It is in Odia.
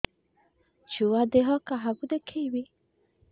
ଛୁଆ ଦେହ କାହାକୁ ଦେଖେଇବି